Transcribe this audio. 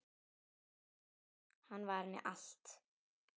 Hann var henni allt.